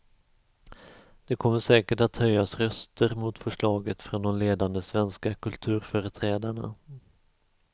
Det kommer säkert att höjas röster mot förslaget från de ledande svenska kulturföreträdarna.